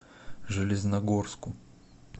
железногорску